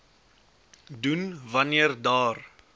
doen wanneer daar